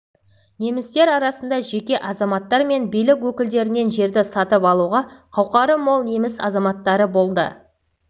немістер арасында жеке азаматтар мен билік өкілдерінен жерді сатып алуға қауқары мол неміс азаматтары болды